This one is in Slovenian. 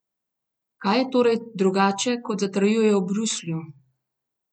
Kaj je tokrat torej drugače, kot zatrjujejo v Bruslju?